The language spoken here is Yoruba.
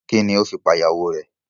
Kini o fi pa ìyàwó rè?